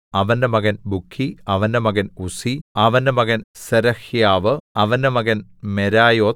അവന്റെ മകൻ ബുക്കി അവന്റെ മകൻ ഉസ്സി അവന്റെ മകൻ സെരഹ്യാവു അവന്റെ മകൻ മെരായോത്ത്